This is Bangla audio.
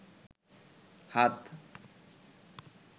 হাত